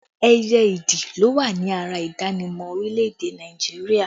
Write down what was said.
Ẹyẹ ìdì ló wà ní ara ìdánimọ̀ orílẹ̀ èdè Nàìjíríà